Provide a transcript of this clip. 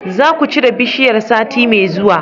zakucire bishiyar sati me zuwa